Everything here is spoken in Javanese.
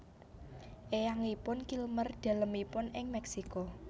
Eyangipun Kilmer dalemipun ing Meksiko